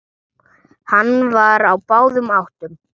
Hann var á báðum áttum.